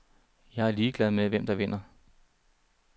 Jeg er ligeglad med, hvem der vinder.